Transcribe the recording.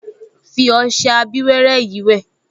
Fi ọṣẹ abíwẹ́rẹ́ yìí wẹ̀